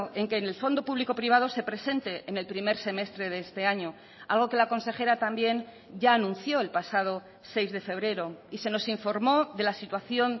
en que en el fondo público privado se presente en el primer semestre de este año algo que la consejera también ya anunció el pasado seis de febrero y se nos informó de la situación